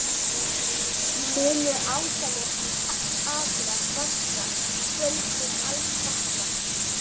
Munu ósánir akrar vaxa, böls mun alls batna